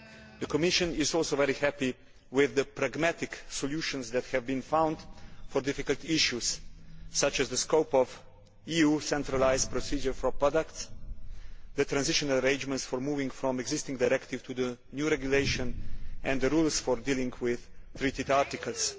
The Commission is also very happy with the pragmatic solutions that have been found for difficult issues, such as the scope of EU centralised procedure for products, the transitional arrangements for moving from existing directives to the new regulation and the rules for dealing with treated articles.